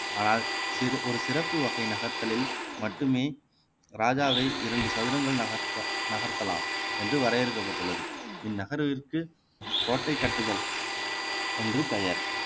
ஆனால் ஒரு சிறப்பு வகை நகர்த்தலில் மட்டுமே ராஜாவை இரண்டு சதுரங்கள் நகர்த்த நகர்த்தலாம் என்று வரையறுக்கப்பட்டுள்ளது இந்நகர்விற்கு கோட்டை கட்டுதல் என்று பெயர்